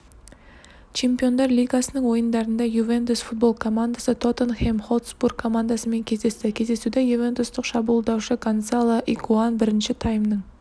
чемпиондар лигасының ойындарында ювентус футбол командасы тоттенхэм хотспур командасымен кездесті кездесуде ювентустық шабуылдаушы гонсало игуаин бірінші таймның